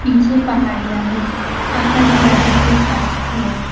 पीछे पहाड़िया है आकाश ज्यादातर साफ है।